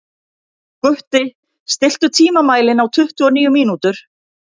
Gutti, stilltu tímamælinn á tuttugu og níu mínútur.